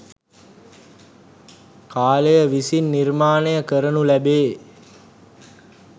කාලය විසින් නිර්මාණය කරනු ලැබේ.